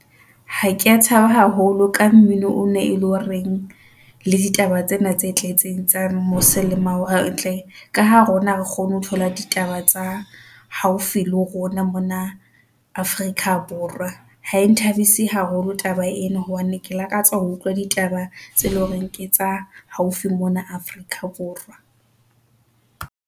Ha kea thaba haholo ka mmino o ne ele horeng la ditaba tsena tse tletseng tsa mose le mawatle ka ha rona ha re kgone ho thola ditaba tsa haufi le rona mona Afrika Borwa. Ha e nthabise haholo taba ena hobane ke lakatsa ho utlwa ditaba tse leng hore ke tsa haufi mona Afrika Borwa.